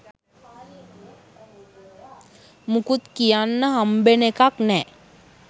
මුකුත් තියන්න හම්බෙන එකක් නෑ.